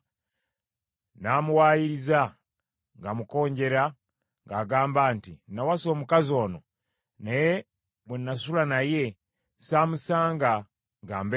n’amuwaayiriza ng’amukonjera ng’agamba nti, “Nawasa omukazi ono, naye bwe nasula naye saamusanga nga mbeerera,”